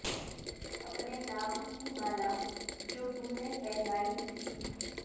اپنے نام کی مالا جو تم نے پہنائی تھی